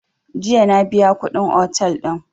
Jiya na biya kuɗin otel din